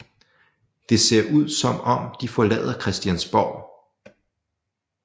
Det ser ud som om de forlader Christiansborg